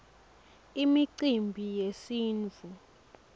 imicimbi yesintfu